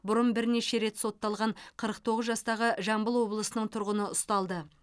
бұрын бірнеше рет сотталған қырық тоғыз жастағы жамбыл облысының тұрғыны ұсталды